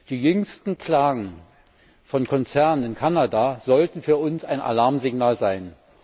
Die jüngsten Klagen von Konzernen in Kanada sollten für uns ein Alarmsignal sein.